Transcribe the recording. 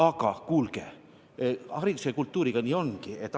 Aga kuulge, hariduse ja kultuuriga nii ongi!